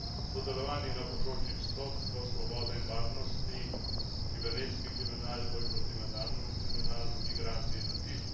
sodelovanje na področjih sodstva, svobode in varnosti kibernetski kriminal, boj proti mednarodnemu kriminalu, migracije in azil